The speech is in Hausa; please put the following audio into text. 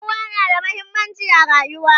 ƴan'uwa na da muhimmanci a rayuwa